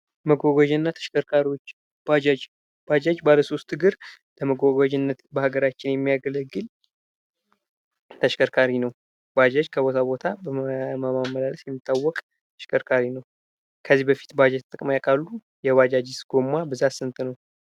መጓጓዣና ተሽከርካሪዎች ባጃጅ ባጃጅ ባለሶስት እግር ለመጓጓዣነት በሀገራችን የሚያገለግል ተሽከርካሪ ነው ባጃጅ ከቦታ ቦታ በማመላለስ የሚታወቅ ተሽከርካሪ ነው። ከዚህ በፊት ባጃጅ ተጠቅመው ያውቃሉ? የባጃጅስ ጎማ ብዛት ስንት ነው?